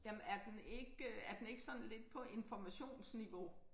Jamen er den ikke er den ikke sådan på informationsniveau?